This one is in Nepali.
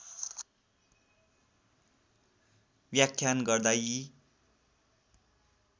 व्याख्यान गर्दा यी